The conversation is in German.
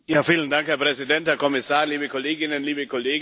Herr Präsident, Herr Kommissar, liebe Kolleginnen, liebe Kollegen!